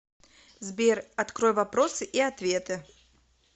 сбер открой вопросы и ответы